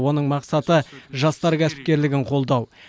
оның мақсаты жастар кәсіпкерлігін қолдау